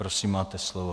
Prosím, máte slovo.